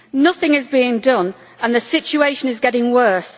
Nothing is being done and the situation is getting worse.